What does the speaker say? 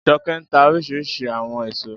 Jọkẹ́ ń tà oríṣiríṣi àwọn èèso